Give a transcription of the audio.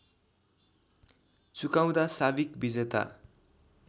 चुकाउँदा साविक विजेता